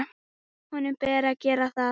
Honum ber að gera það.